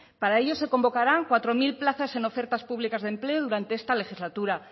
para ello se convocarán cuatro mil plazas en ofertas públicas de empleo durante esta legislatura